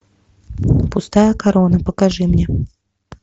пустая корона покажи мне